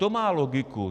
To má logiku.